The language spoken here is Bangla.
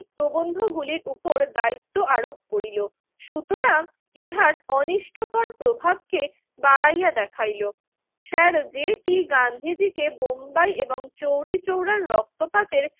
প্রবন্ধগুলির উপর দায়িত্ব আরোপ করিল। সুতরাং ইহার অনিষ্টকর প্রভাবকে বাড়াইয়া দেখাইল। স্যার জে টি গান্ধীজিকে বোম্বাই এবং চৌরিচৌরার রক্তপাতের